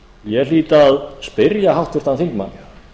ég hlýt að spyrja háttvirtan þingmann